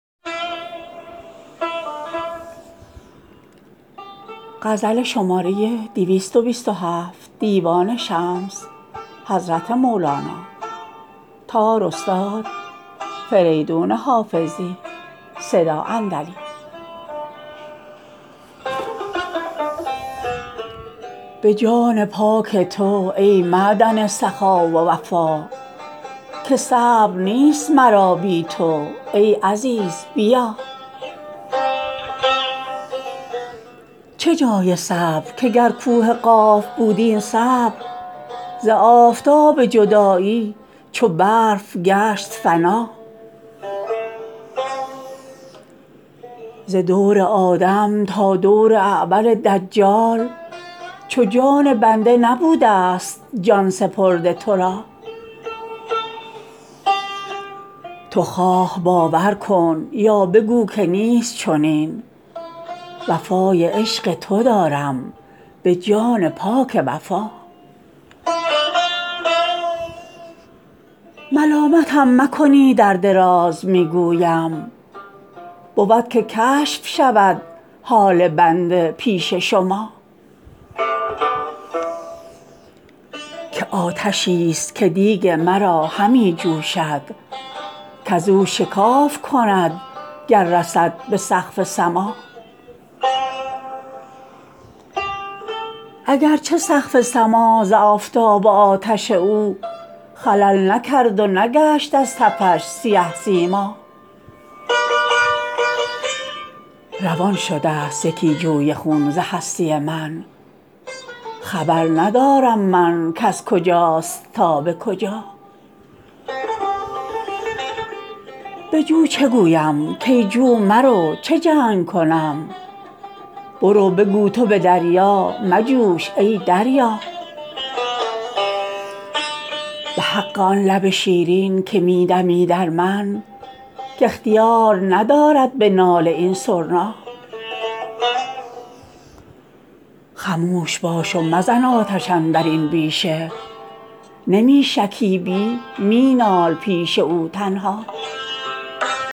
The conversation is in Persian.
به جان پاک تو ای معدن سخا و وفا که صبر نیست مرا بی تو ای عزیز بیا چه جای صبر که گر کوه قاف بود این صبر ز آفتاب جدایی چو برف گشت فنا ز دور آدم تا دور اعور دجال چو جان بنده نبوده ست جان سپرده تو را تو خواه باور کن یا بگو که نیست چنین وفای عشق تو دارم به جان پاک وفا ملامتم مکنید ار دراز می گویم بود که کشف شود حال بنده پیش شما که آتشی ست که دیگ مرا همی جوشد کز او شکاف کند گر رسد به سقف سما اگر چه سقف سما ز آفتاب و آتش او خلل نکرد و نگشت از تفش سیه سیما روان شده ست یکی جوی خون ز هستی من خبر ندارم من کز کجاست تا به کجا به جو چه گویم کای جو مرو چه جنگ کنم برو بگو تو به دریا مجوش ای دریا به حق آن لب شیرین که می دمی در من که اختیار ندارد به ناله این سرنا خموش باش و مزن آتش اندر این بیشه نمی شکیبی می نال پیش او تنها